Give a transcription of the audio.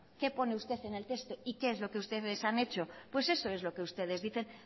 qué pone usted en el texto y qué es lo que ustedes han hecho pues eso es lo que ustedes dicen